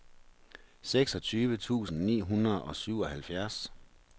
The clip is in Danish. seksogtyve tusind ni hundrede og syvoghalvfjerds